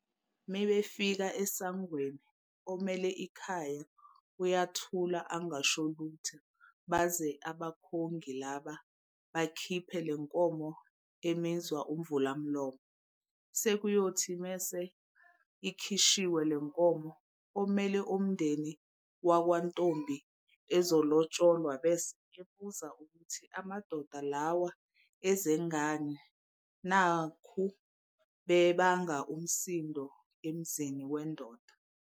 Mebefika esangweni, omele ikhaya uyathula angasholutho baze abakhongi laba bakhiphe le nkomo emizwa "Imvulamlomo". Sekuyothi mese ikhishiwe le nkomo, omele abomndeni wankwantombi ezolotsholwa bese ebuza ukuthi amadoda lawa ezengani nakhu bebanga umsindo emzini wendoda.